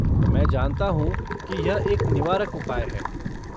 मैं जानता हूँ कि यह एक निवारक उपाय है।